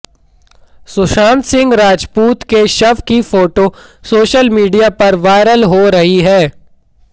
सुशांत सिंह राजपूत के शव की फोटो सोशल मीडिया पर वायरल हो रही है